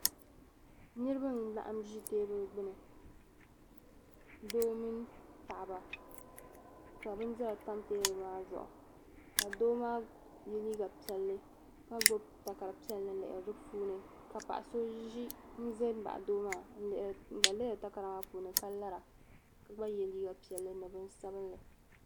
Niraba n laɣim ʒi teebuli gbubi doo mini paɣaba ka bindira tam teebuli maa zuɣu ka doo maa yɛ liiga piɛlli ka gbubi takari piɛlli n lihiri di puuni ka paɣa so ʒɛ n baɣa doo maa n gba lihiri takara maa puuni ka lara ka gba yɛ liiga piɛlli ni bin sabinli